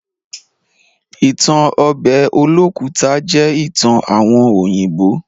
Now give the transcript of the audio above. Ìtan obe Olókùta jẹ́ ìtan àwon òyìnbó.